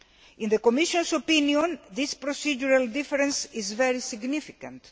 In the Commission's opinion, this procedural difference is very significant.